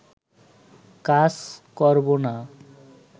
কাজ করব না